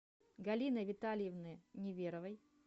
галины витальевны неверовой